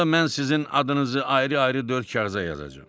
Onda mən sizin adınızı ayrı-ayrı dörd kağıza yazacam.